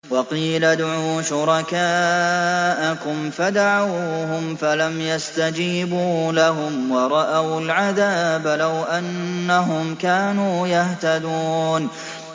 وَقِيلَ ادْعُوا شُرَكَاءَكُمْ فَدَعَوْهُمْ فَلَمْ يَسْتَجِيبُوا لَهُمْ وَرَأَوُا الْعَذَابَ ۚ لَوْ أَنَّهُمْ كَانُوا يَهْتَدُونَ